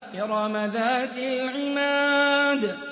إِرَمَ ذَاتِ الْعِمَادِ